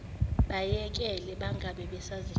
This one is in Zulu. bayekele bangabe basazitshala